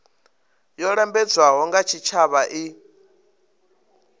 yo lambedzwaho nga tshitshavha i